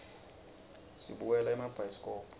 sibukela emabhayisikobho